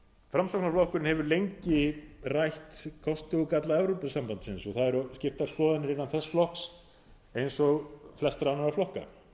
framsóknarflokkurinn hefur lengi rætt kosti og galla evrópusambandsins og það eru skiptar skoðanir innan þess flokks eins og flestra annarra flokka